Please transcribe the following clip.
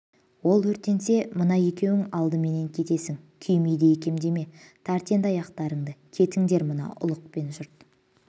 ол өртенсе мына екеуің алдымен кетесің күймейді екем деме тарт енді аяқтарыңды кетіндер мына ұлықпен жұрт